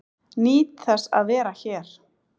Nýt þess að vera hér